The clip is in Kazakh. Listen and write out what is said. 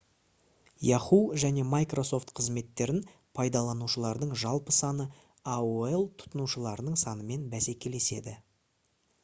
yahoo және microsoft қызметтерін пайдаланушылардың жалпы саны aol тұтынушыларының санымен бәсекелеседі